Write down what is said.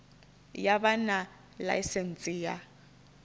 ya vha na ḽaisentsi ya